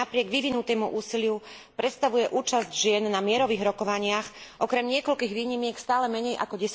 No aj napriek vyvinutému úsiliu predstavuje účasť žien na mierových rokovaniach, okrem niekoľkých výnimiek, stále menej ako